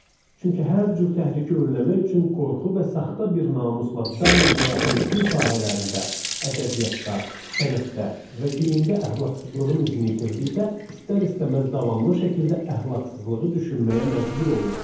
Çünki hər cür təhriki önləmək üçün qorxu və saxta bir namusla daim həyatın bütün sahələrində, ədəbiyyatda, sənətdə və geyimdə əxlaqsızlığın izini itirdikdə istər-istəməz davamlı şəkildə əxlaqsızlığı düşünməyə məcbur olurdu.